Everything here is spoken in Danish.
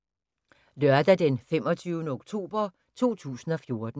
Lørdag d. 25. oktober 2014